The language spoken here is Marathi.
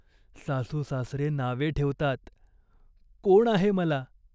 सासूसासरे नावे ठेवतात. कोण आहे मला ?